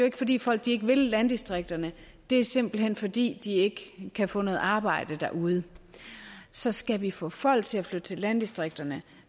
ikke fordi folk ikke vil landdistrikterne det er simpelt hen fordi de ikke kan få noget arbejde derude så skal vi få folk til at flytte til landdistrikterne